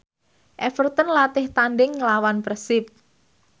Everton latih tandhing nglawan Persib